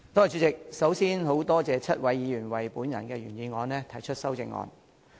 主席，首先，我感謝7位議員就我的原議案提出修正案。